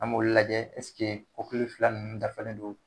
An b'olu lajɛ fila nunnu dafalen don ?